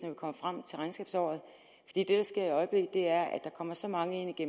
vi kommer frem til regnskabsåret det der sker i øjeblikket er at der kommer så mange ind i